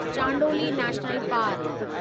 Chandoli national park